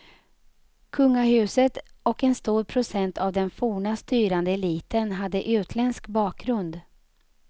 Kungahuset och en stor procent av den forna styrande eliten hade utländsk bakgrund.